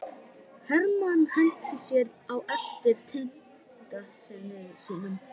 Hermann henti sér á eftir tengdasyni sínum.